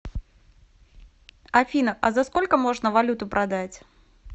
афина а за сколько можно валюту продать